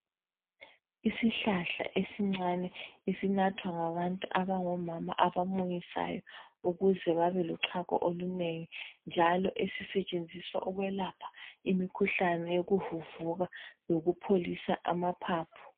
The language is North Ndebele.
Isihlahla esincane esinathwa ngabantu abangomama abamunyisayo ukuze babelochago olunengi njalo esisetshenziswa ukwelapha imikhuhlane yokuvuvuka lokupholisa amaphaphu.